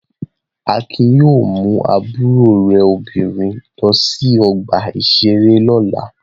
Akin yóò mú àbúrò rẹ̀ obìnrin lọ sí ọgbà-ìṣeré lọ́la!